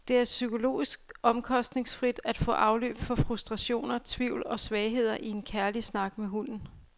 Det er psykologisk omkostningsfrit at få afløb for frustrationer, tvivl og svagheder i en kærlig snak med hunden.